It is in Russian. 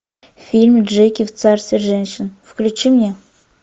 фильм джеки в царстве женщин включи мне